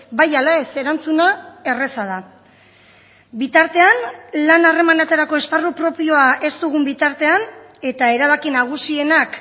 bai ala ez erantzuna erraza da bitartean lan harremanetarako esparru propioa ez dugun bitartean eta erabaki nagusienak